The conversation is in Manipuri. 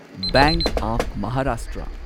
bank of Maharashtra